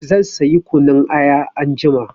Zan sayi kunun aya anjima.